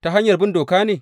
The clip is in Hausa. Ta hanyar bin doka ne?